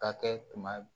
Ka kɛ tuma